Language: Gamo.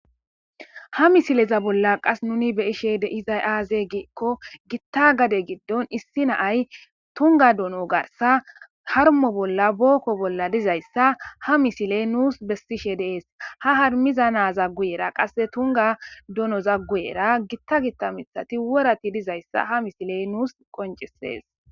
Ha misileza bolla qas nuni beishe deizay aaze giikko gitta gade giddon issi naay tunga dono garsa harmo bolla bookko bolla dizayssa ha misile nuus bessishe dees ha harmiza naza guyera qasse tunga dono za guyera gitta gitta mithati worati dizayssa ha misile nuus qoncisees